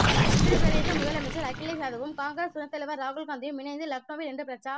உத்தரப் பிரதேச முதலமைச்சர் அகிலேஷ் யாதவும் காங்கிரஸ் துணைத் தலைவர் ராகுல் காந்தியும் இணைந்து லக்னோவில் இன்று பிரச்சா